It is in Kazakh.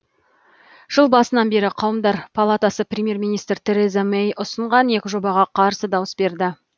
жыл басынан бері қауымдар палатасы премьер министр тереза мэй ұсынған екі жобаға қарсы дауыс берді